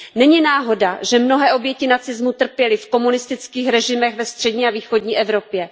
Není náhoda, že mnohé oběti nacismu trpěli v komunistických režimech ve střední a východní Evropě.